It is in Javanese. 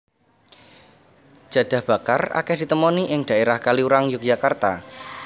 Jadah bakar akèh ditemoni ing dhaérah Kaliurang Yogyakarta